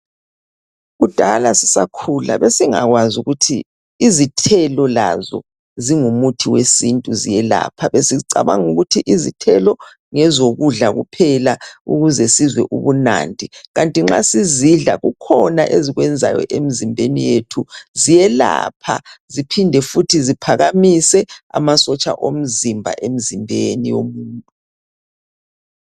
Kudala sisakhula besingakwazi ukuthi izithelo lazo zingumuthi wesintu ziyelapha, besicabanga ukuthi izithelo ngezokudla kuphela ukuzwe sizwe ubunandi kanti nxa sizidla kukhona ezikwenzayo emzimbeni yethu, ziyelapha ziphinde futhi ziphakamise amasotsha omzimba emzimbeni womuntu.